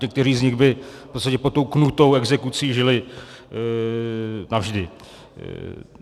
Někteří z nich by v podstatě pod tou knutou exekucí žili navždy.